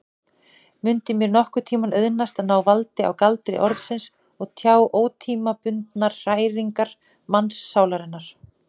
Mundi mér nokkurntíma auðnast að ná valdi á galdri orðsins og tjá ótímabundnar hræringar mannssálarinnar?